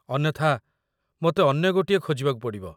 ଅନ୍ୟଥା, ମୋତେ ଅନ୍ୟ ଗୋଟିଏ ଖୋଜିବାକୁ ପଡ଼ିବ।